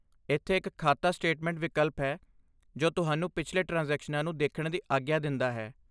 ਇੱਥੇ ਇੱਕ ਖਾਤਾ ਸਟੇਟਮੈਂਟ ਵਿਕਲਪ ਹੈ, ਜੋ ਤੁਹਾਨੂੰ ਪਿਛਲੇ ਟ੍ਰਾਂਜੈਕਸ਼ਨਾਂ ਨੂੰ ਦੇਖਣ ਦੀ ਆਗਿਆ ਦਿੰਦਾ ਹੈ।